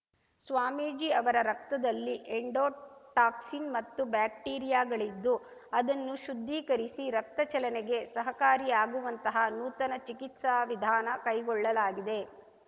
ಸ್ವಾಮೀಜಿ ಅವರ ರಕ್ತದಲ್ಲಿ ಎಂಡೋಟಾಕ್ಸಿನ್‌ ಮತ್ತು ಬ್ಯಾಕ್ಟೀರಿಯಾಗಳಿದ್ದು ಅದನ್ನು ಶುದ್ಧೀಕರಿಸಿ ರಕ್ತ ಚಲನೆಗೆ ಸಹಕಾರಿಯಾಗುವಂತಹ ನೂತನ ಚಿಕಿತ್ಸಾ ವಿಧಾನ ಕೈಗೊಳ್ಳಲಾಗಿದೆ